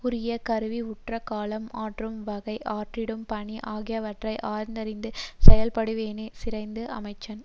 உரிய கருவி உற்ற காலம் ஆற்றும் வகை ஆற்றிடும் பணி ஆகியவற்றை ஆய்ந்தறிந்த செயல்படுபவனே சிறந்த அமைச்சன்